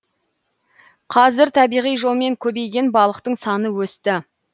қазір табиғи жолмен көбейген балықтың саны өсті